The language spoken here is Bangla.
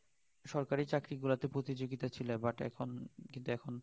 সরকারি চাকরি গুলোতে প্রতিযোগিতা ছিল but এখন কিন্তু এখন